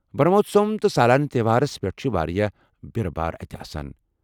برہموتسوم تہٕ سالانہٕ تہوارس پیٹھ چھِ وارِیاہ بیرٕ بارٕ اَتہِ آسان ۔